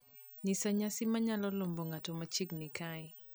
nyisa nyasi ma nyalo lombo ng`ato machiegni kae